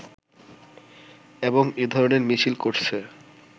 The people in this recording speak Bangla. এবং এ ধরণের মিছিল করছে